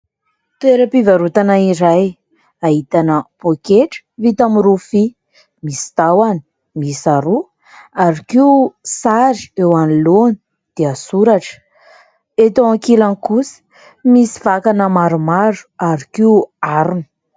Toeram-pivarotana iray ahitana pôketra vita amin'ny rofia, misy tahony miisa roa ary koa sary eo anoloana dia soratra, eto ankilany kosa misy vakana maromaro ary koa harona.